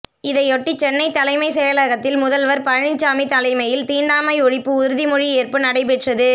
இதையொட்டி சென்னை தலைமைச் செயலகத்தில் முதல்வர் பழனிசாமி தலைமையில் தீண்டாமை ஒழிப்பு உறுதிமொழி ஏற்பு நடைபெற்றது